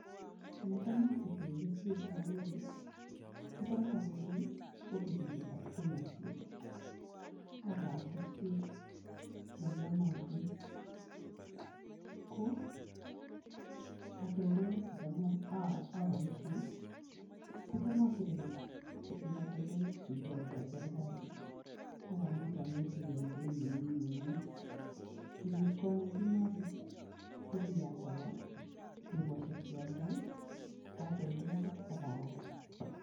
Ole tam asike keswek cha kole, ko tam awendi ofisisiekab Kenya Seed, ak aal keswek che iyonotin. Ko katoltolik che cham aboisie ko cha asirekei eng katoltolik chu ikotoi Serikali akamuch anyorchikei eng beit ne mi nguny, kenyit konye kimasich ii, ko kiyach awo dukosiek che adoi katoltolik ak aal.